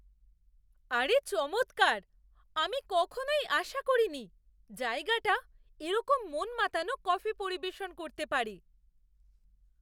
আরে চমৎকার! আমি কখনই আশা করিনি জায়গাটা এরকম মন মাতানো কফি পরিবেশন করতে পারে।